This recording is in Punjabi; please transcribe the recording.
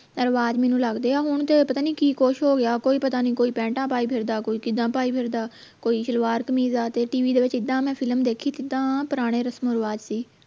ਰਿਵਾਜ ਮੈਨੂੰ ਲਗਦੇ ਹੈ ਹੁਣ ਤੇ ਉਹ ਪਤਾ ਨਹੀਂ ਕਿ ਕੁਸ਼ ਹੋ ਗਿਆ ਕੋਈ ਪਤਾ ਨੀ ਕੋਈ ਪੇਂਟਾ ਪਾਈ ਫਿਰਦਾ ਕੋਈ ਕਿੱਦਾਂ ਪਾਈ ਫਿਰਦਾ ਕੋਈ ਸਲਵਾਰ ਕਮੀਜ ਆ ਤੇ ਦੇ ਵਿਚ ਇੱਦਾਂ ਮੈਂ ਦੇਖੀ ਕਿਦਾਂ ਪੁਰਾਣੇ ਰਸਮ ਰਿਵਾਜ ਦੀ